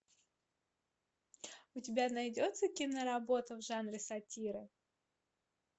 у тебя найдется киноработа в жанре сатиры